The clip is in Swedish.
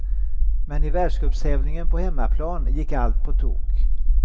Men i världscupstävlingen på hemmaplan gick allt på tok.